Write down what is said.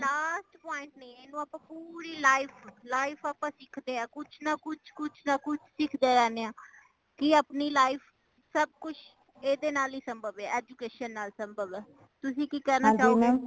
but last point ਨਹੀਂ ਹੈ ਏਨੂੰ ਆਪਾ ਪੂਰੀ life, life ਆਪਾ ਸਿੱਖਦੇ ਹਾਂ ਕੁੱਛ ਨਾ ਕੁੱਛ ,ਕੁੱਛ ਨਾ ਕੁੱਛ ,ਕੁੱਛ ਨਾ ਕੁੱਛ ਸਿੱਖਦੇ ਰਹਿਣੇ ਹਾਂ ਕੀ ਆਪਣੀ life ਸਬ ਕੁੱਛ ਏਦੇ ਨਾਲ ਹੀ ਸੁੰਭਵ ਹੈ education ਨਾਲ ਸੁੰਭਵ ਹੈ ਤੁਸੀਂ ਕੀ ਕਹਿਣਾ ਚਾਹੋਗੇ